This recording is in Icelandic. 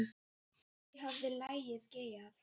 Hví hafði lagið geigað?